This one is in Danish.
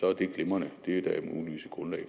er det glimrende det er da muligvis et grundlag